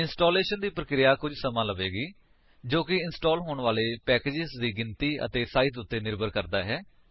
installation ਦੀ ਪਰਿਕ੍ਰੀਆ ਕੁੱਝ ਸਮਾਂ ਲਵੇਂਗੀ ਜੋ ਕਿ ਇੰਸਟਾਲ ਹੋਣ ਵਾਲੇ ਪੈਕੇਜਸ ਦੀ ਗਿਣਤੀ ਅਤੇ ਸਾਇਜ ਉੱਤੇ ਨਿਰਭਰ ਕਰਦਾ ਹੈ